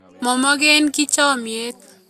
Momokeki chomiet